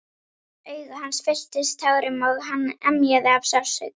Augu hans fylltust tárum og hann emjaði af sársauka.